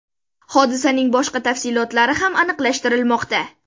Hodisaning boshqa tafsilotlari ham aniqlashtirilmoqda.